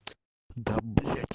да блядь